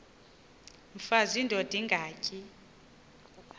mfaz indod ingaty